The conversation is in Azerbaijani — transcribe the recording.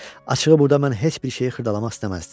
Açıqı burda mən heç bir şeyi xırdalamaq istəməzdim.